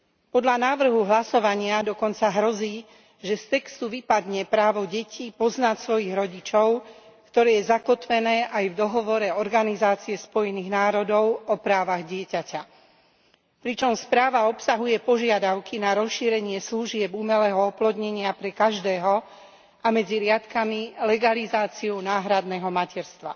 Podľa návrhu hlasovania dokonca hrozí, že z textu vypadne právo detí poznať svojich rodičov, ktoré je zakotvené aj v Dohovore Organizácie Spojených národov o právach dieťaťa, pričom správa obsahuje požiadavky na rozšírenie služieb umelého oplodnenia pre každého a medzi riadkami legalizáciu náhradného materstva.